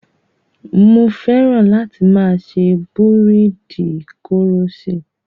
Mo fẹ́ran láti máa ṣe búréèdì koroṣé.